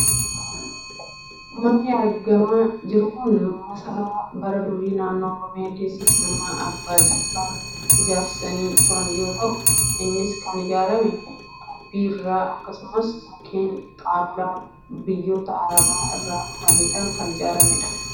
Manni argamaa jiru kun masaraa bara durii naannoo Oromiyaa keessaa Jimmatti Abbaan Jifaar ijaarsisanii turan yoo ta'u, innis kan ijaarame xuubii irraa akkasumas mukkeen xaawulaa biyyoota arabaa irraa fiduudhaan kan ijaaramedha.